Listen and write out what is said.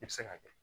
I bɛ se k'a kɛ